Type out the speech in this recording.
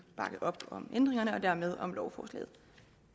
bakke op om ændringerne og dermed om lovforslaget